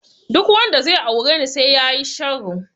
Duk wanda zai aure ni sai yayi sharo.